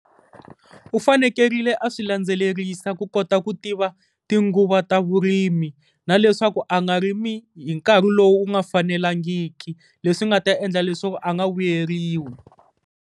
U fanekerile a swi landzelerisa ku kota ku tiva tinguva ta vurimi, na leswaku a nga rimi hi nkarhi lowu nga fanelangiki leswi nga ta endla leswaku a nga vuyeriwi.